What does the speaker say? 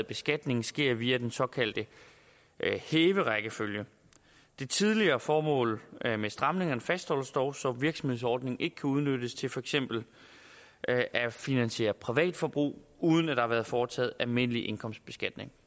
beskatningen sker via den såkaldte hæverækkefølge det tidligere formål med stramningerne fastholdes dog så virksomhedsordningen ikke kan udnyttes til for eksempel at finansiere privatforbrug uden at der har været foretaget almindelig indkomstbeskatning